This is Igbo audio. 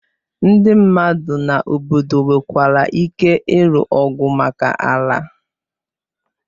Ndị mmadu na obodo nwekwara ike ịlụ ọgụ maka ala.